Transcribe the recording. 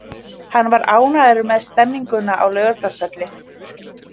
Hann var ánægður með stemninguna á Laugardalsvelli.